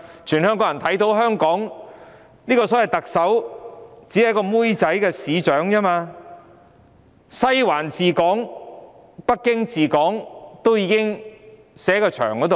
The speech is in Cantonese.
所有香港人都看到，香港特首只是一個"妹仔"市長，西環治港、北京治港都已寫在牆上。